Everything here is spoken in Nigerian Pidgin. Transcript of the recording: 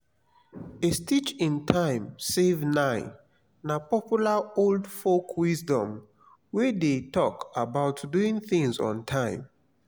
a stitch in time save nine na popular old folk wisdom wey de talk about doing things on time